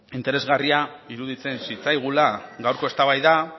interesgarria iruditzen zitzaigula gaurko eztabaida